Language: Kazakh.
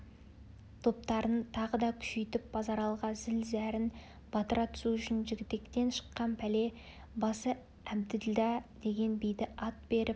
топтарын тағы да күшейтіп базаралыға зіл-зәрін батыра түсу үшін жігітектен шыққан пәле басы әбділдә деген биді ат беріп